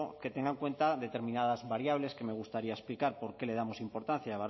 que tenga en cuenta determinadas variables que me gustaría explicar por qué le damos importancia